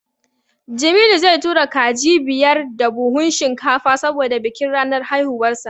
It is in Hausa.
Jamilu zai tura kaji biyar da buhun shinkafa saboda bikin ranar haihuwarsa.